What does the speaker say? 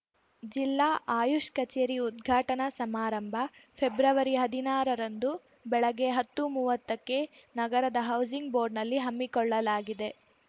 ಜಿಲ್ಲಾ ಆಯುಷ್‌ ಕಚೇರಿ ಉದ್ಘಾಟನಾ ಸಮಾರಂಭ ಫೆಬ್ರವರಿಹದಿನಾರ ರಂದು ಬೆಳಗ್ಗೆ ಹತ್ತುಮೂವತ್ತಕ್ಕೆ ನಗರದ ಹೌಸಿಂಗ್‌ ಬೋರ್ಡ್‌ನಲ್ಲಿ ಹಮ್ಮಿಕೊಳ್ಳಲಾಗಿದೆ